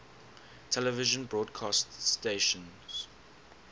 television broadcast stations